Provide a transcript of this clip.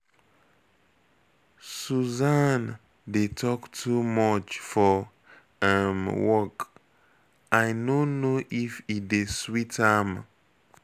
Susan dey talk too much for um work, I no know if e dey sweet am.